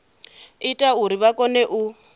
ita uri vha kone u